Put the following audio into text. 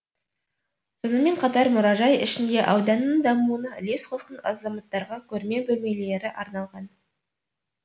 сонымен қатар мұражай ішінде ауданның дамуына үлес қосқан азаматтарға көрме бөлмелері арналған